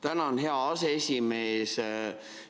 Tänan, hea aseesimees!